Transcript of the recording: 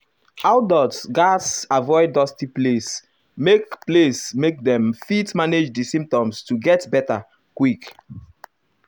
adults gatz avoid dusty place make place make dem fit manage di symptoms to get beta quick.